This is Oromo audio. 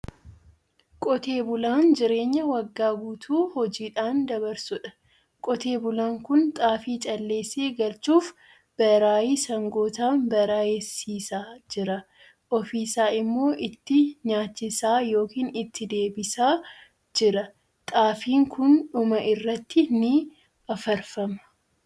Qotee bulaan jireenya waggaa guutuu hojiidhaan dabarsudha. Qotee bulaan kun xaafii calleessee galchuuf baraayii sangootaan baraayessiisaa jira. Ofiisaa immoo itti nyaachisaa yookiin itti deebisaa jira. Xaafiin kun dhuma irratti ni afarfama.